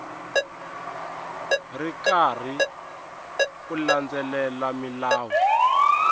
ri karhi u landzelela milawu